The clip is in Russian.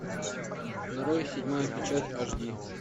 нарой седьмая печать аш ди